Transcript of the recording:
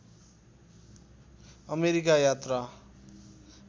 America यात्रा